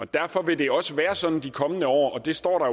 derfor vil det også være sådan i de kommende år og det står der